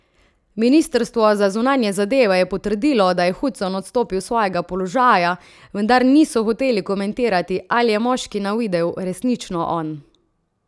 Ministrstvo za zunanje zadeve je potrdilo, da je Hudson odstopil s svojega položaja, vendar niso hoteli komentirati, ali je moški na videu resnično on.